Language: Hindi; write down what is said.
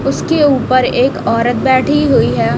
उसके ऊपर एक औरत बैठी हुई है।